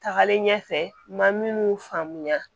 Tagalen ɲɛfɛ n ma minnu faamuya